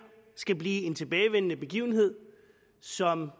skal blive en tilbagevendende begivenhed som